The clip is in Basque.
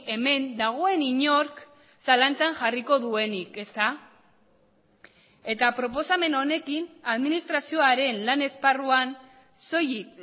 hemen dagoen inork zalantzan jarriko duenik ezta eta proposamen honekin administrazioaren lan esparruan soilik